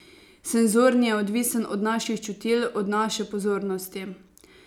Senzorni je odvisen od naših čutil, od naše pozornosti.